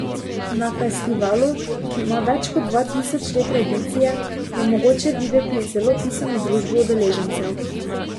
Na festivalu, ki ima več kot dva tisoč let tradicije, je mogoče videti zelo pisano družbo udeležencev.